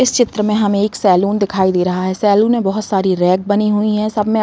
इस चित्र में हमें एक सैलून दिखाई दे रहा है। सैलून में बहोत सारे रैक बने हुई हैं। सब में --